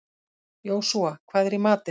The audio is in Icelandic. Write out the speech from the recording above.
Jósúa, hvað er í matinn?